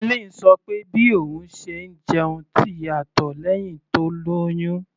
Helen sọ pé bí òun ṣe ń jẹun ti yàtọ̀ lẹ́hìn tó lóyún.